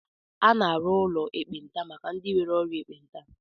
A na-arụ ụlọ ekpenta maka ndị nwere ọrịa ekpenta